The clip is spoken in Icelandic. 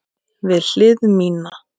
Við hlið mína.